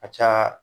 A ka ca